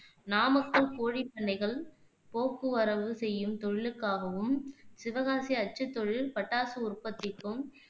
நாமக்கல் கோழிப் பண்ணைகள், போக்குவரவு செய்யும் தொழிலுக்காகவும், சிவகாசி அச்சுத் தொழில், பட்டாசு உற்பத்திக்கும்,